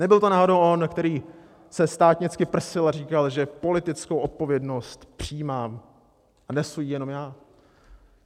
Nebyl to náhodou on, který se státnicky prsil a říkal, že politickou odpovědnost přijímám a nesu ji jenom já?